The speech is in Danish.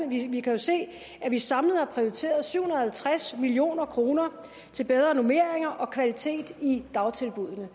vi kan jo se at vi samlet har prioriteret syv hundrede og halvtreds million kroner til bedre normering og kvalitet i dagtilbuddene